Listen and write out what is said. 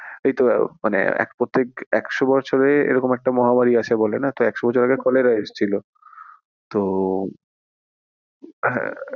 এইতো মানে প্রত্যেক একশো বছরে এইরকম একটা মহামারি আসে বেলনা তো একশো বছর আগে কলেরা এসেছিলো তো, হ্যাঁ।